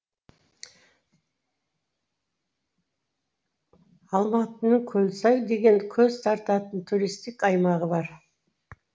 алматының көлсай деген көз тартатын туристік аймағы бар